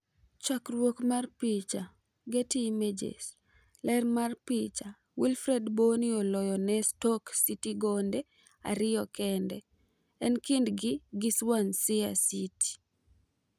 chakruok mar picha, Getty Images. Lerr mar picha, Wilfred Bony oloyo ne Stoke Citygonde ariyo kende, e kindgi gi swansea city.